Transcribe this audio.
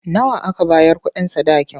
Nawa aka bayar kuɗin sadakin?